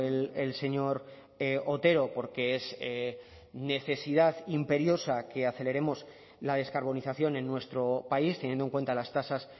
el señor otero porque es necesidad imperiosa que aceleremos la descarbonización en nuestro país teniendo en cuenta las tasas